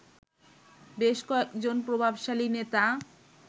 বেশ কয়েকজন প্রভাবশালী নেতা